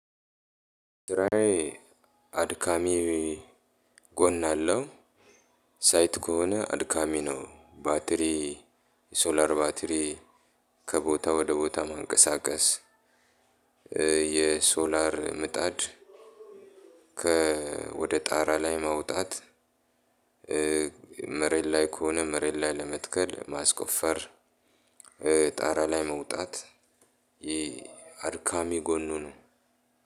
ስራየ አድካሚ ጎን አለው። ሳይት ከሆነ አድካሚ ነው። ባትሪ ሶላር ባትሪ ከቦታ ወደ ቦታ ማንቀሳቀስ የሶላር ምጣድ ወደ ጣራ ላይ ማውጣት መሬት ላይ ከሆነ መሬት ላይ ለመትከል ማስቆፈር፣ ጣራ ላይ መውጣት ይህ አድካሚ ጎኑ ነው።